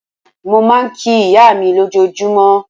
Mo máa ń kí ìyá mi lójoojúmọ́.